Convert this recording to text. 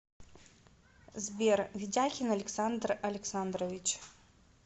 сбер ведяхин александр александрович